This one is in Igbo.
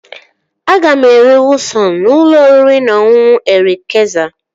Aga m eri kwụasọn n'ụlọ oriri na ọṅụṅụ Erik Kayzer